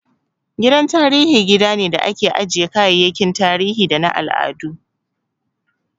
Gidan tarihi gida ne da ake ajjiye kayayyakin tarihi da na al'adu